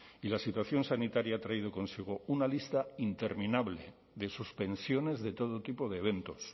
y la situación sanitaria ha traído consigo una lista interminable de suspensiones de todo tipo de eventos